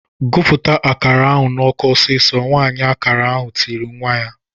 "Gụpụta akara ahụ n'ọkụ ọsịsọ!" Nwaanyị akara ahụ tirile nwa ya.